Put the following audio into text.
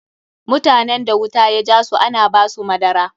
Mutanen da wuta ya jasu ana ba su madara.